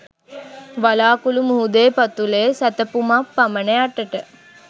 වලාකුළු මුහුදේ පතුලේ සැතපුමක් පමණ යටට